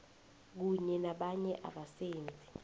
kunye nabanye abasebenzi